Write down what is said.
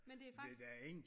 Men det er faktisk